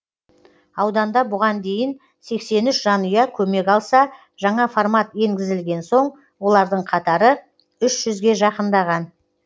ауданда бұған дейін сексен үш жанұя көмек алса жаңа формат енгізілген соң олардың қатары үш жүзге жақындаған